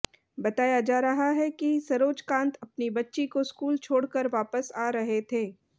बताया जा रहा है कि सरोजकांत अपनी बच्ची को स्कूल छोड़कर वापस आ रहे थे